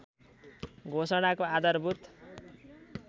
घोषणाको आधारभूत